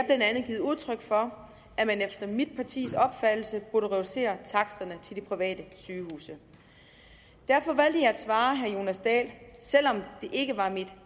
andet givet udtryk for at man efter mit partis opfattelse burde reducere taksterne til de private sygehuse derfor valgte jeg at svare herre jonas dahl selv om det ikke var mit